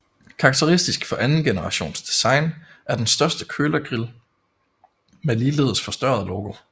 Karakteristisk for anden generations design er den større kølergrill med ligeledes forstørret logo